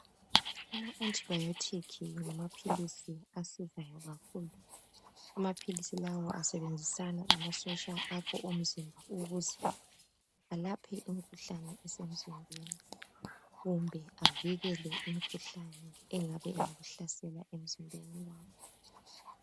Ama "antibiotic" ngamaphilisi asizayo kakhulu amaphilisi lawa asebenzisana lamasotsha akho omzimba ukuze alaphe imkhuhlane esemzimbeni kumbe avikele imkhuhlane engabe ingakuhlasela emzimbeni wakho.